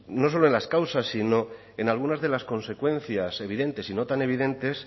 no solo en las causas sino en algunas de las consecuencias evidentes y no tan evidentes